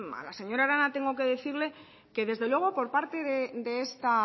a la señora arana tengo que decirle que desde luego por parte de esta